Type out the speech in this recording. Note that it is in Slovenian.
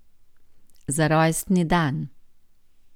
Za rojstni dan.